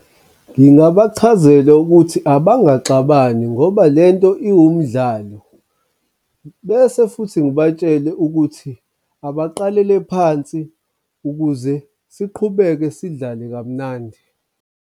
Ngingabachazela ukuthi abangaxabani ngoba lento iwumdlalo bese futhi ngibatshele ukuthi abaqalele phansi ukuze siqhubeke sidlale kamnandi.